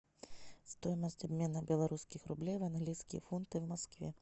стоимость обмена белорусских рублей в английские фунты в москве